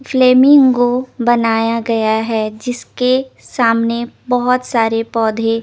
flamingo बनाया गया है जिसके सामने बोहोत सारे पोधे --